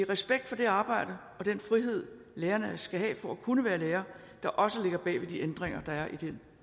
respekt for det arbejde og den frihed lærerne skal have for at kunne være lærere der også ligger bag de ændringer der er i det